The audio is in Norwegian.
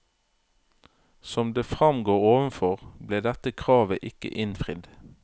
Som det fremgår overfor, ble dette kravet ikke innfridd.